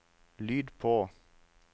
lyd på